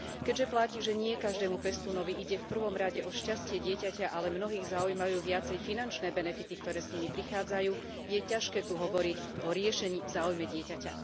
Keďže platí, že nie každému pestúnovi ide v prvom rade o šťastie dieťaťa, ale mnohých zaujímajú viacej finančné benefity, ktoré s nimi prichádzajú, je ťažké tu hovoriť o riešení v záujme dieťaťa.